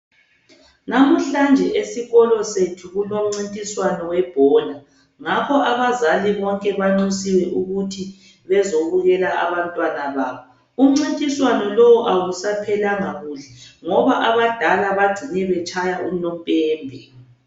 Lamuhlanje esikolo sethu kulomncintiswano webhola, ngakho abazali bonke banxusiwe ukuthi bezobukela abantwana babo. Umncintiswano lo awusaphelanga kuhle ngoba abadala bagcine betshaya unompembe.